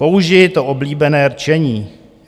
Použiji to oblíbené rčení.